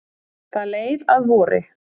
Það leið að vori.